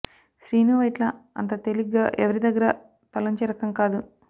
శ్రీను వైట్ల అంత తేలిగ్గా ఎవరి దగ్గర తలొంచే రకం కాదు